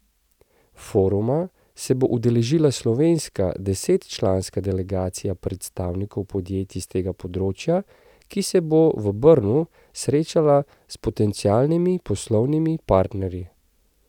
Foruma se bo udeležila slovenska desetčlanska delegacija predstavnikov podjetij s tega področja, ki se bo v Brnu srečala s potencialnimi poslovnimi partnerji.